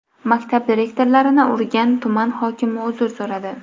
Maktab direktorlarini urgan tuman hokimi uzr so‘radi.